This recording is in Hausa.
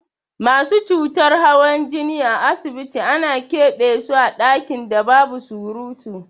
Masu cutar hawan jini a asibiti ana ƙebe so a ɗakin da babu surutu.